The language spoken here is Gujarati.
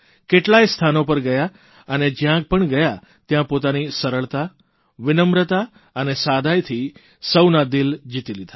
કેટલાંય સ્થાનો પર ગયા અને જ્યાં પણ ગયા ત્યાં પોતાની સરળતા વિનમ્રતા અને સાદાઇથી સૌના દિલ જીતી લીધા